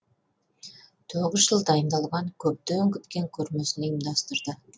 тоғыз жыл дайындалған көптен күткен көрмесін ұйымдастырды